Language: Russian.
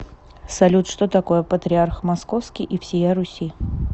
салют что такое патриарх московский и всея руси